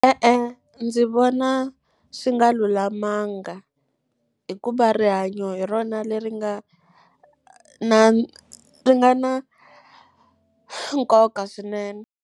E-e, ndzi vona swi nga lulamanga hikuva rihanyo hi rona leri nga na ri nga na nkoka swinene.